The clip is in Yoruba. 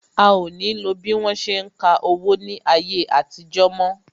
A o ní lo bí wọ́n ṣe ń ka owó ní ayé àtijó mo